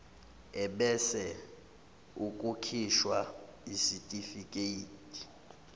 ebese kukhishwa isitifikedi